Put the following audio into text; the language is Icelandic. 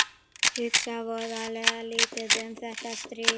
Hugsa voðalega lítið um þetta stríð.